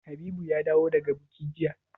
Habibu ya dawo daga buki jiya?